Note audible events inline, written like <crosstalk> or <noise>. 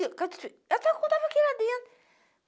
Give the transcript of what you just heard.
<unintelligible> Eu estava <unintelligible> aqui lá dentro.